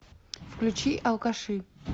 включи алкаши